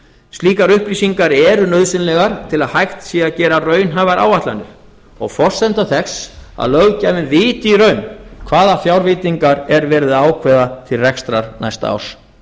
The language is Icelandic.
slíkar upplýsingar eru nauðsynlegar til að hægt sé að gera raunhæfar áætlanir og forsenda þess að löggjafinn viti í raun hvaða fjárveitingar er verið að ákveða til rekstrar næsta árs